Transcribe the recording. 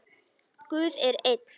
Guð er einn.